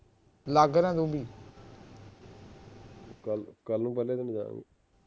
ਕੱਲ ਨੂੰ ਪਹਿਲੇ ਦਿਨ ਜਾਣਾ